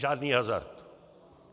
Žádný hazard!